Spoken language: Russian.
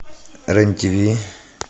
рен тв